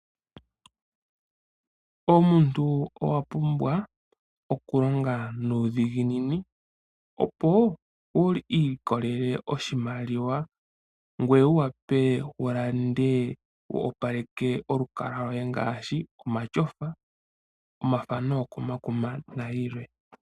Omuntu owapumbwa okulonga nuudhiginini opo wu ilikole oshimaliwa ngweye wuwape wulande ngweye wu opaleke olukalwa lwoye ngaashi omatyofa, omathano gokomakuma nayilwe.